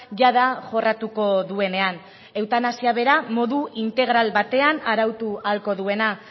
jada jorratuko duenean eutanasia bera modu integral batean arautu ahalko duena